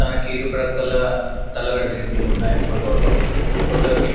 తనకి ఇరుప్రక్కల తలగడదిండ్లు ఉన్నాయ్ ఫోటోలో ఫోటో గిఫ్ట్ --